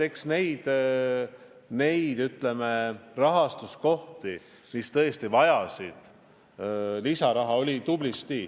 Eks neid valdkondi, mis tõesti vajasid lisaraha, oli tublisti.